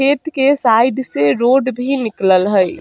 खेत के साइड से रोड भी निकलल हई।